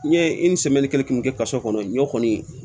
N ye kelen mun kɛ kaso kɔnɔ n ɲ'o kɔni